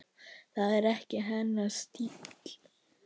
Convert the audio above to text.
Það er ekki hennar stíll.